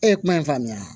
E ye kuma in faamuya